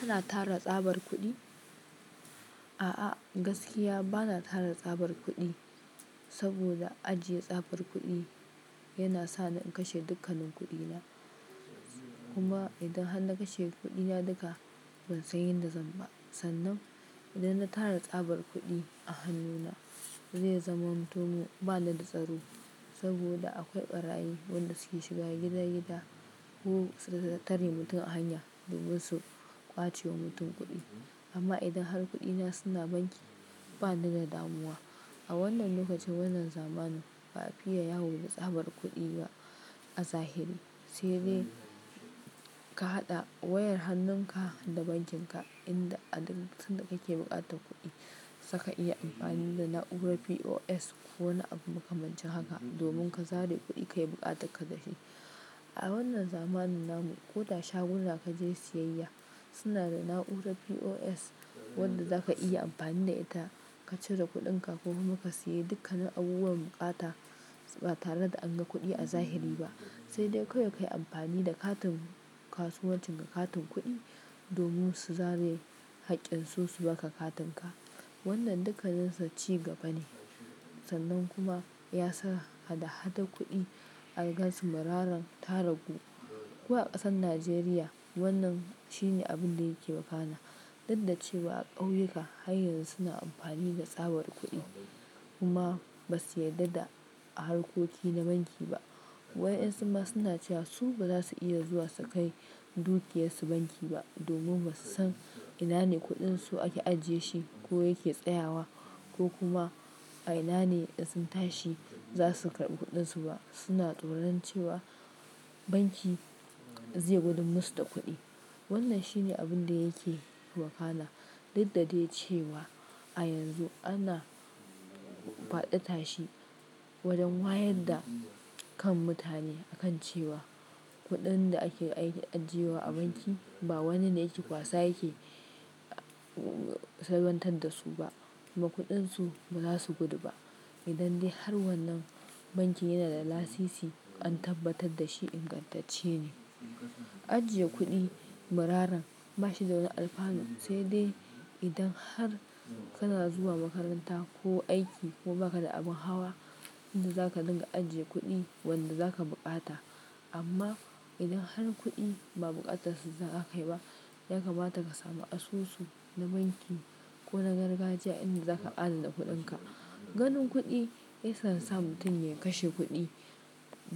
Kana tara tsabar kuɗi? A'a gaskiya bana tara tsabar kuɗi, saboda ajiye tsabar kuɗi yana sani in kashe dukkanin kuɗina. Kuma idan har na kashe kuɗina duka ban san yanda zan ba. Sannan idan na tara tsabar kuɗi a hannuna zai zama mutumin ba ni da tsaro. Saboda akwai ɓarayin wanda suke shiga gida-gida ko su ka tattare mutum a hanya domin su ƙwace wa mutum kuɗi. Amma idan har kuɗina suna banki bani da damuwa. A wannan lokacin wannan zamanin, ba'afiya ya woda tsabar kuɗi a zahiri. Sai dai ka haɗa wayar hannunka da bankin ka inda a duk lokacin da kake buƙatan kuɗi, saka iya amfani da na'urar POS ko wani abu makamancin haka domin ka zare kuɗi kayi buƙatar ka da shi. A wannan zamanin namu ko da shagunan da ka je siyayya suna da na'urar POS wadda za ka iya amfani da ita ka cire kuɗinka ko kuma ka sayi dukkanin abubuwan buƙata ba tare da an ga kuɗi a zahiri ba. Sai dai kawai ka yi amfani da katin kasuwancin ka, katin kuɗi domin su zare haƙƙin su su baka katin ka. Wannan dukkaninsa ci gaba ne sannan kuma ya sa hada-hada kuɗi algaz muraran tara ku. Ko a ƙasar Najeriya wannan shine abun da yake wakana. Dukdacewa a ƙauyuka har yanzu suna amfani da tsabar kuɗi kuma ba su yarda da harkoki na banki ba. Wa'ƴan su ma suna cewa su ba za su iya zuwa su kai dukiyar su banki ba domin ba su san ina ne kuɗin su ake ajiye shi ko yake tsayawa ko kuma a ina ne idan sun tashi za su karbi kuɗin su ba. Suna tsoron cewa banki zai gudun musu da kuɗi. Wannan shi ne abun da yake wakana. Dukdadai cewa a yanzu ana faɗi tashi wajen wa yadda kan mutane a kan cewa kuɗin da ake ajiye wa a banki ba wani ne yake kwasa yake salwantar da su ba kuma kuɗin su ba za su gudu ba. Idan dai har wannan bankin yana da lasisi an tabbatar da shi ingantacce ne. Ajiye kuɗi muraran bashi da wani alfanu sai dai idan har kana zuwa makaranta ko aiki ko baka da abin hawa inda zaka dinga ajiye kuɗi wanda zaka buƙata. Amma idan har kuɗi ba buƙatar su zaka kai ba, ya kamata ka samu asusu na banki ko na gargajiya inda zaka adana kuɗinka. Ganin kuɗi yakan sa mutum ya kashe kuɗi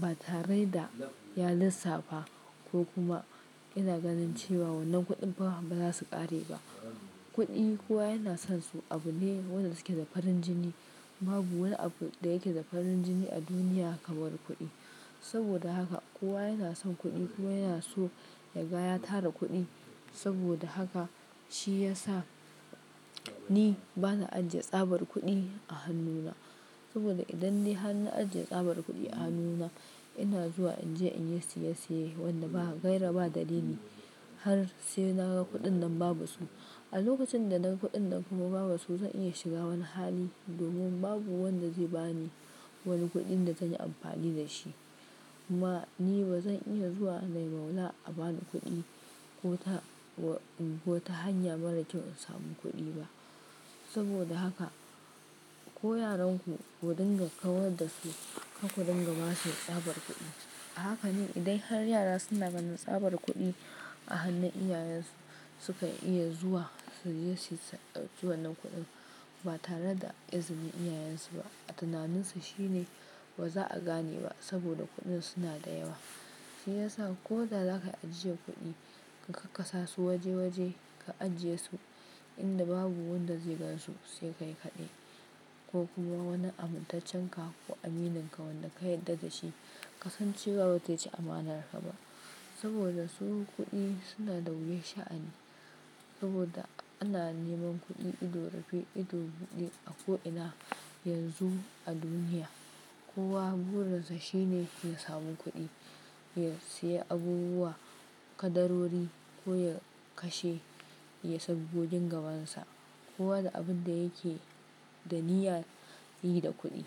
ba tare da ya lissafa ko kuma yana ganin cewa wannan kuɗin fa ba za su ƙare ba. Kuɗi kowa yana son su abu ne wanda suke da farin jini. Babu wani abu da yake da farin jini a duniya kamar kuɗi. Saboda haka kowa yana son kuɗi kuma yana so ya gaya tara kuɗi. Saboda haka shi ya sa ni bana ajiye tsabar kuɗi a hannuna. Saboda idan dai har na ajiye tsabar kuɗi a hannuna ina zuwa in je in yi siyesiye wanda ba gaira ba dalili ne har sai na ga kuɗin nan babu su. A lokacin da naga kuɗin nan kuma babu su zan iya shiga wani hali domin babu wanda zai bani wani kuɗin da zan yi amfani da shi. Ma ni ba zan iya zuwa na yi maula a bani kuɗi ko ta w-- ko ta hanya mara kyau in samu kuɗi ba. Saboda haka ko yaranku ku dinga kawar da su ka ku dinga basu tsabar kuɗi. Hakane idan har yara suna gani tsabar kuɗi a hannun iyayensu sukan iya zuwa suje yi ta zuwa dauki wannan kuɗin ba tare da izinin iyayensu ba. A tunaninsu shi ne ba za a gane ba saboda kuɗin suna da yawa. Shi ya sa ko da za ka ajiyar kuɗi ka kakkasa su waje-waje ka ajiye su inda babu wanda zai gansu sai ka yi kaɗai ko kuma wani amin taccen ka ko amininka wanda ka yarda da shi ka san cewa ba zai ci amanarka ba. Saboda su kuɗi suna da wuyan sha'ani saboda ana neman kuɗi ido rufe ido buɗe a ko'ina yanzu a duniya. Kowa burinsa shine ya samu kuɗi ya siya abubuwa kadarori ko ya kashe, ya sabgo gin gabansa. Kowa da abin da yake da niyya yi da kuɗi.